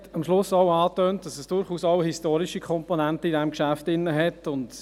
Er hat am Schluss auch angetönt, dass in diesem Geschäft durchaus auch historische Komponenten enthalten sind.